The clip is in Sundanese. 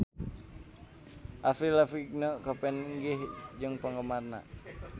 Avril Lavigne papanggih jeung penggemarna